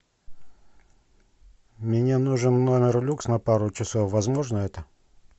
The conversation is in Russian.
мне нужен номер люкс на пару часов возможно это